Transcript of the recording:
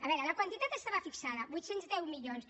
a veure la quantitat estava fixada vuit cents i deu milions